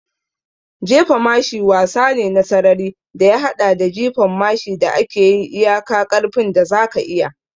Jefa mashi wasa ne na sarari da ya haɗa da jifan mashi da ake yi iyaka ƙarfin da zaka iya.